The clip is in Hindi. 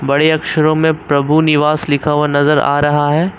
बड़े अक्षरों में प्रभु निवास लिखा हुआ नजर आ रहा है।